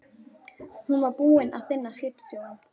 Hún var búin að finna skipstjórann.